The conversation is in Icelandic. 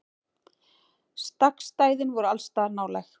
Stakkstæðin voru allsstaðar nálæg.